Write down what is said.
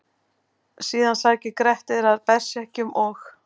Síðan sækir Grettir að berserkjum og: